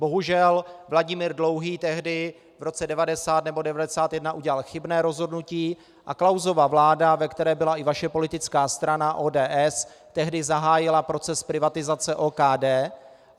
Bohužel, Vladimír Dlouhý tehdy v roce 1990 nebo 1991 udělal chybné rozhodnutí a Klausova vláda, ve které byla i vaše politická strana, ODS, tehdy zahájila proces privatizace OKD.